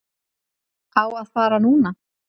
Á að fara núna.